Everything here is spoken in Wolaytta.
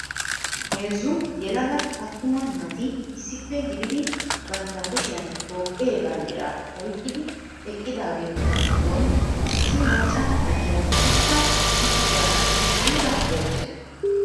Heezzu yelaga attuma naati issippe gididi bamtta kushiyaan Toophee bamddira oyqqidi eqqidaageetu giddon issi macca na'iyaa utta uttidaara aybba oottay?